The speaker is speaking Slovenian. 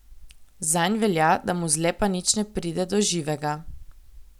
Zanj velja, da mu zlepa nič ne pride do živega.